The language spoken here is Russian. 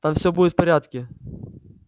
там все будет в порядке